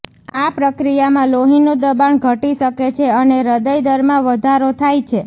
આ પ્રક્રિયામાં લોહીનું દબાણ ઘટી શકે છે અને હૃદય દરમાં વધારો થાય છે